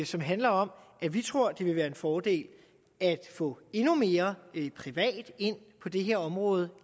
som handler om at vi tror det vil være en fordel at få endnu mere og ikke mindre privat ind på det her område